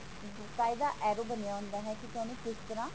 arrow ਬਣਿਆ ਹੁੰਦਾ ਹੈ ਤੁਸੀਂ ਓਹਨੂੰ ਤਰ੍ਹਾਂ